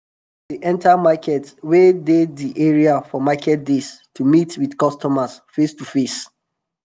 farm workers dey enta markets wey dey di area for market days to meet with customer face to face.